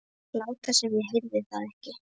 Láta sem ég heyrði það ekki.